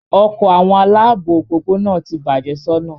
Ọkọ awọn alaabo opopona ti bạje sona